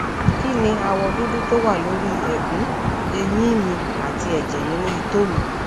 kí ni awọ dúdú tó wà lórí ẹgùn eyin mi àti ẹjẹ ninu ito mi